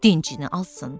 Dincini alsın.